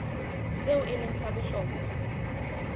seo e leng sa bohlokwa